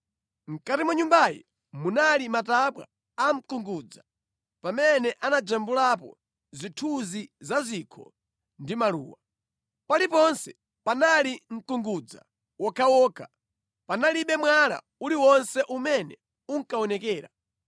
Mʼkati mwa Nyumbayi munali matabwa a mkungudza, pamene anajambulapo zithunzi za zikho ndi maluwa. Paliponse panali mkungudza wokhawokha. Panalibe mwala uliwonse umene unkaonekera.